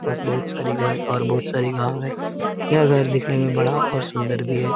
पास बहुत सारी घर और बहुत सारी गाँव है यह घर दिखने में बड़ा और सुंदर भी है|